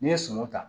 N'i ye sɔ